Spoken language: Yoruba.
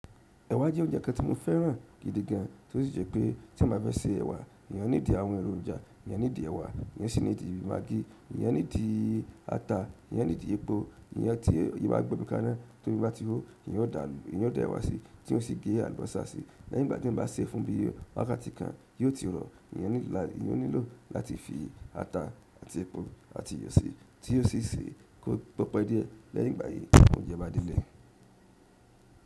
Ẹ̀wà jẹ́ oúnjẹ kan tí mo fẹ́ràn gidi gan, tí ó sì jẹ́ pé tí mo bá fẹ́ se ẹ̀wà, eyan ní dí àwọn èròjà, eyan ní dí ẹwà, eyan sì ní dí maggi, eyan ní dí ata, eyan ní dí epo, ìyẹ́n tí eyan bá gbómi kaná tó omí bá ti hó, eyan ó da èwà sí, tí ó sì gé àlùbọ́sà sí, lẹ́yìn ìgbà tí eyan bá se e fún bí i wákàtí kan, yóò ti rọ̀, eyan nílò láti fi ata àti epo àti iyọ̀ si tí yóò sì se kó pepe díẹ̀ lẹ́yìn ìgbà yí óúnjẹ bá delẹ̀.